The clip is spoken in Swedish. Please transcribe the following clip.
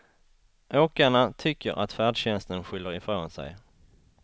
Åkarna tycker att färdtjänsten skyller ifrån sig.